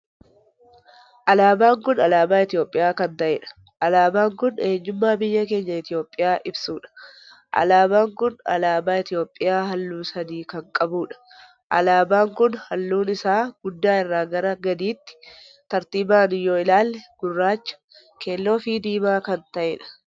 Alaabaan kun alaabaa Itoophiyaa kan taheedha. alaabaan kun eenyummaa biyya keenya Itoophiyaa ibsuudha. alaabaan kun alaabaa Itoophiyaa halluu sadii kan qabuudha. alaabaan kun halluun isaa guddaa irraa gara gadiitti tartiiban yoo ilaalle gurraacha, keelloo fi diimaa kan taheedha.